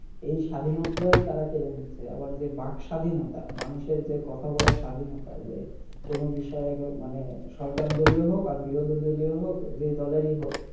এই স্বাধীনতা টাই তারা কেড়ে নিচ্ছে আবার যে বাকস্বাধীনতা মানুষের যে কথা বলার স্বাধীনতা যে কোন বিষয়ে মানে সরকারদলীয় হোক আর বিরোধীদলীয় হবে যে দলেরই হোক,